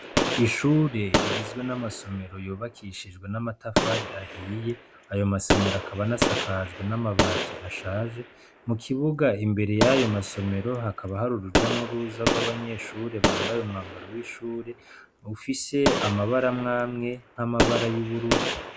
Ishure rigizwe n'amasomero yubakishijwe n'amatafari ahiye ayo masomero akaba anasakajwe n'amabati ashaje mu kibuga imbere yayo masomero hakaba hari uruja n'uruza rw'abanyeshure bambaye umwambaro w'ishure ufise amabara amwe amwe nk'amabara y'ubururu.